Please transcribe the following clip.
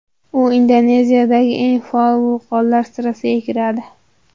U Indoneziyadagi eng faol vulqonlar sirasiga kiradi.